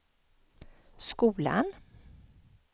skolan